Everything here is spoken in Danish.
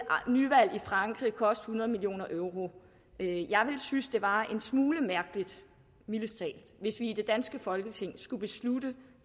nyvalg i frankrig koste hundrede million euro jeg ville synes at det var en smule mærkeligt mildest talt hvis vi i det danske folketing skulle beslutte